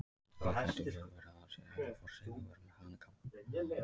Því gæti vel verið að það sé ævaforn siður að vera með hanakamb.